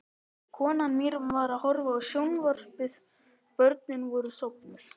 Konan mín var að horfa á sjónvarpið, börnin voru sofnuð.